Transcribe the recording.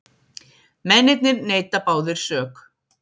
Mennirnir neita báðir sök